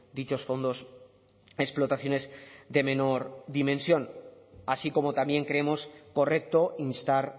dichos fondos a explotaciones de menor dimensión así como también creemos correcto instar